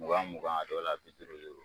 Mugan mugan a dɔw la bi duuru duuru